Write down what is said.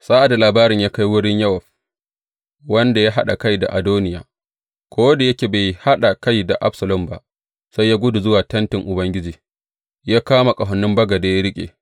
Sa’ad da labarin ya kai wurin Yowab, wanda ya haɗa kai da Adoniya, ko da yake bai haɗa kai da Absalom ba, sai ya gudu zuwa tentin Ubangiji, ya kama ƙahonin bagade ya riƙe.